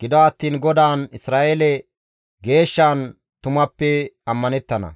gido attiin GODAAN Isra7eele Geeshshan tumappe ammanettana.